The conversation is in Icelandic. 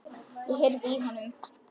Ég heyrði í honum!